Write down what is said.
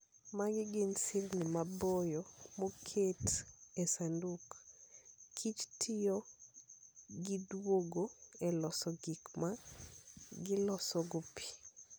Magi gin sirni maboyo moket e sanduk ,kich tiyo giduogo e loso gik ma gilosogo pi.